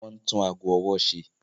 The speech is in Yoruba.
Wọ́n ń tún ago ọwọ́ ṣe.